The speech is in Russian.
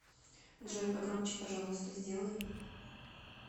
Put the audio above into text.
джой погромче пожалуйста сделай